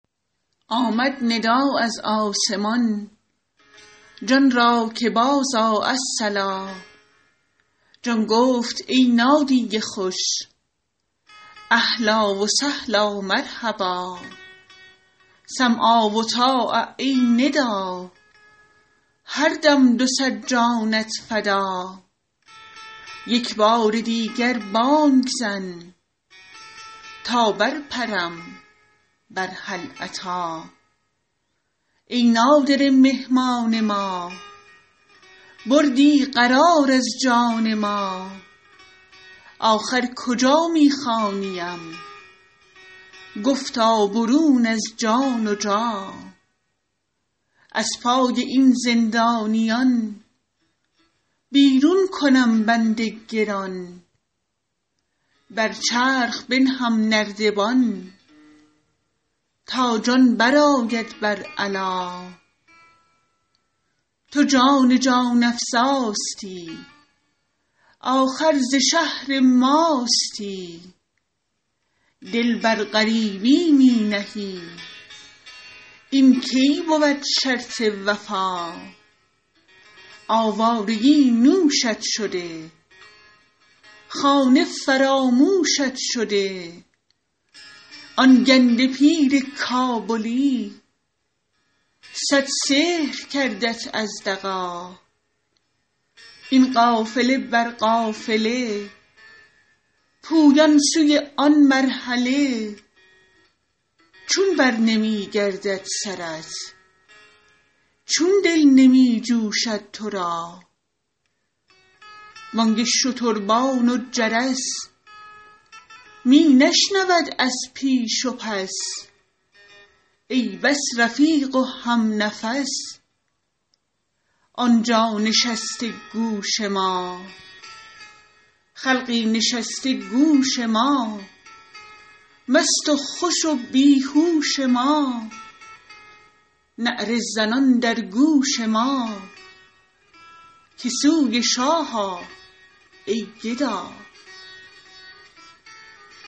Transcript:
آمد ندا از آسمان جان را که بازآ الصلا جان گفت ای نادی خوش اهلا و سهلا مرحبا سمعا و طاعه ای ندا هر دم دو صد جانت فدا یک بار دیگر بانگ زن تا برپرم بر هل اتی ای نادره مهمان ما بردی قرار از جان ما آخر کجا می خوانیم گفتا برون از جان و جا از پای این زندانیان بیرون کنم بند گران بر چرخ بنهم نردبان تا جان برآید بر علا تو جان جان افزاستی آخر ز شهر ماستی دل بر غریبی می نهی این کی بود شرط وفا آوارگی نوشت شده خانه فراموشت شده آن گنده پیر کابلی صد سحر کردت از دغا این قافله بر قافله پویان سوی آن مرحله چون برنمی گردد سرت چون دل نمی جوشد تو را بانگ شتربان و جرس می نشنود از پیش و پس ای بس رفیق و همنفس آن جا نشسته گوش ما خلقی نشسته گوش ما مست و خوش و بی هوش ما نعره زنان در گوش ما که سوی شاه آ ای گدا